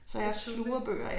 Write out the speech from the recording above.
Det var tidligt